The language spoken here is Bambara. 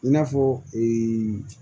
I n'a fɔ